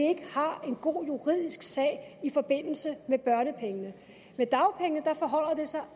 har en god juridisk sag i forbindelse med børnepengene med dagpengene forholder det sig